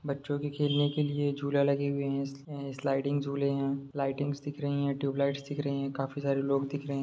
बच्चो के खेलने के लिए झूले लगे हुए है आ स्लाइडिंग जुले है लाइटिंग्स दिख रही है तुब्लैट्स दिख रही है काफी सारे लोग दिख रहे है।